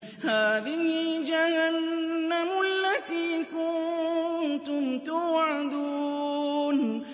هَٰذِهِ جَهَنَّمُ الَّتِي كُنتُمْ تُوعَدُونَ